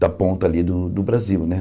da ponta ali do do Brasil né.